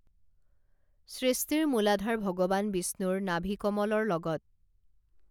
সৃষ্টিৰ মূলাধাৰ ভগৱান বিষ্ণুৰ নাভিকমলৰ লগত